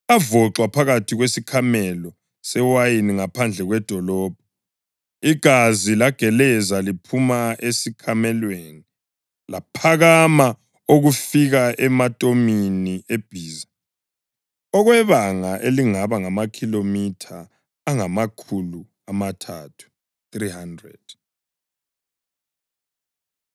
Avoxwa phakathi kwesikhamelo sewayini ngaphandle kwedolobho, igazi lageleza liphuma esikhamelweni, laphakama okufika ematomini ebhiza okwebanga elingaba ngamakhilomitha angamakhulu amathathu (300).